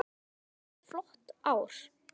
Þetta hefur verið flott ár.